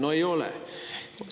" No ei ole!